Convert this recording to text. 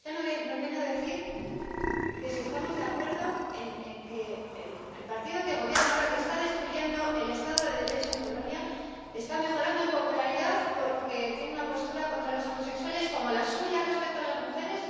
¿Y usted nos viene a decir que si estamos de acuerdo en que el partido que gobierna ahora, que está destruyendo el Estado de Derecho en Polonia, está mejorando en popularidad porque tiene una postura contra los homosexuales como la suya respecto a las mujeres?